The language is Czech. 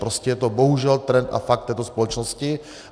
Prostě je to bohužel trend a fakt této společnosti.